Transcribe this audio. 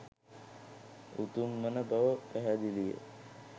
උතුම් වන බව පැහැදිලිය.